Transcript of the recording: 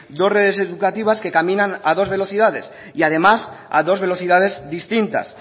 dos redes educativas que caminan a dos velocidad y además a dos velocidades distintas